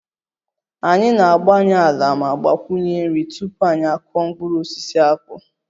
Anyị na-agbanye ala ma gbakwunye nri tupu anyị akụọ mkpụrụ osisi akpu